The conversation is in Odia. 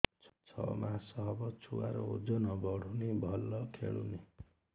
ଛଅ ମାସ ହବ ଛୁଆର ଓଜନ ବଢୁନି ଭଲ ଖେଳୁନି